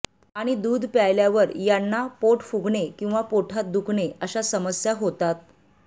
आणि दूध प्यायल्यावर यांना पोट फुगणे किंवा पोटात दुखणे अशा समस्या होतात